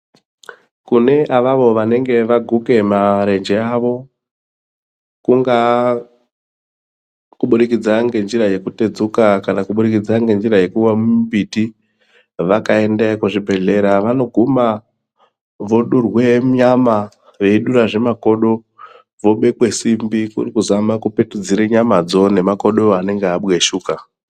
Kune avavo vanenge vaguke marenje avo kungaa kuburikidza nenzira yeku tedzuka kana kuburikidza nenzira yekuwa mumbiti vakaendeyo kuzvi bhedhlera vanoguma vodurwe nyama veidurazve makodo vobekwe simbi kuri kuzama kupetudzire nyama dzo nemakodo anenge abweshuka .